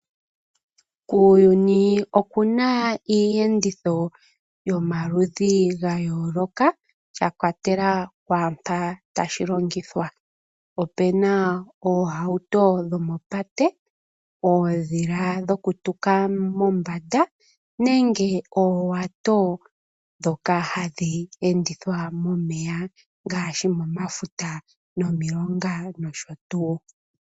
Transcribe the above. Kuuyuni oku na iiyenditho yomaludhi ga yooloka shi ikwatelela mpoka tashi longithwa. Opu na oohauto yomopate, oondhila dhokutuka mombanda nenge oowato ndhoka hadhi endithwa momeya ngaashi momafuta nomilonga nosho tuu.